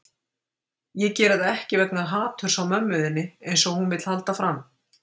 Ég geri það ekki vegna haturs á mömmu þinni, eins og hún vill halda fram.